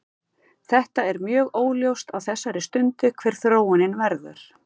Þetta er mjög óljóst á þessari stundu hver þróunin verður.